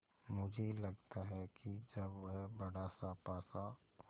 मुझे लगता है कि जब वह बड़ासा पासा